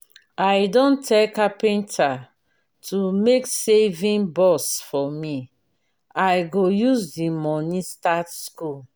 i don tell carpenter to make saving box for me i go use the money start school